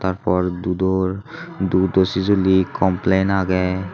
tarpor dudor dudo sijili complain agey.